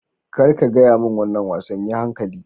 Kar ka gaya min wannan wasan!yi hankali.